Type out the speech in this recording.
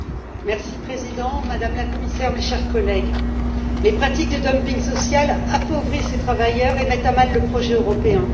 Monsieur le Président, Madame la Commissaire, chers collègues, les pratiques de dumping social appauvrissent les travailleurs et mettent à mal le projet européen.